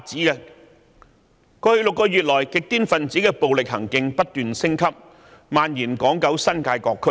在過去6個月，極端分子的暴力行徑不斷升級，並蔓延至港九新界各區。